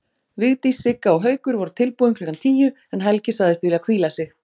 Vigdís, Sigga og Haukur voru tilbúin klukkan tíu en Helgi sagðist vilja hvíla sig.